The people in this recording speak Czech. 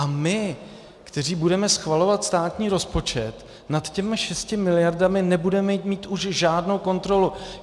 A my, kteří budeme schvalovat státní rozpočet, nad těmi šesti miliardami nebudeme mít už žádnou kontrolu.